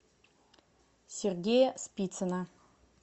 сергея спицына